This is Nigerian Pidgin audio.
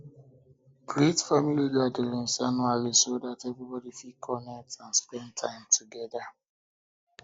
create family gatherings family gatherings um annually so um that everybody fit connect and spend time together